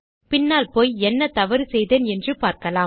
பின்னால் போய் என்ன தவறு செய்தேன் என்று பார்க்கலாம்